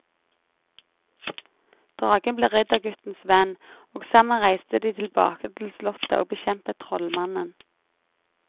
Dragen ble ridderguttens venn, og sammen reiste de tilbake til slottet og bekjempet trollmannen.